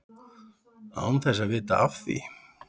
Án þess að vita af því.